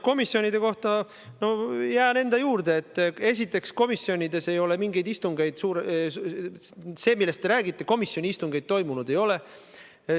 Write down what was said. Komisjonide kohta öeldus jään enda juurde, et esiteks ei ole komisjonides mingeid istungeid toimunud – selles asjas, millest te räägite, komisjoni istungeid toimunud ei ole.